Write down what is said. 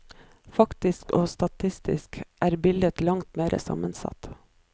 Faktisk og statistisk er bildet langt mer sammensatt.